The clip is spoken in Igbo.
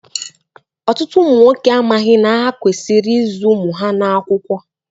Ọtụtụ ụmụ nwoke amaghị na ha kwesịrị ịzụ ụmụ ha n'akwụkwọ.